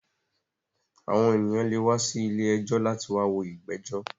Àwọn ènìyàn lè wá sí ilé ẹjọ́ láti wá wo ìgbẹ́jọ̀